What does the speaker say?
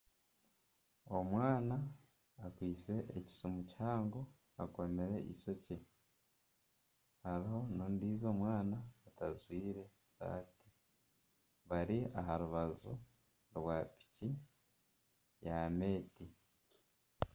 Omwana akwaitse ekisimu kihango, akomire eishokye. Hariho n'ondiijo mwana atajwaire saati, bari aha rubaju piki ya meeti.